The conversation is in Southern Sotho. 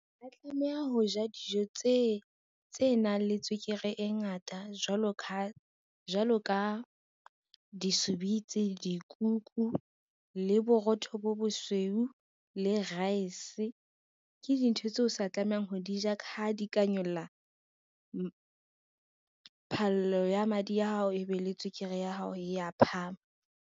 Ha rea tlameha ho ja dijo tse nang le tswekere e ngata jwalo ka disubitsi, dikuku, le borotho bo bosweu le raese. Ke dintho tseo sa tlamehang ho di ja ka ha di ka nyolla phallo ya madi a hao, ebe le tswekere ya hao ya phahama.